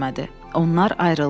Onlar ayrıldılar.